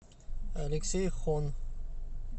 алексей хон